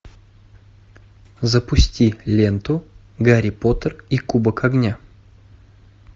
запусти ленту гарри поттер и кубок огня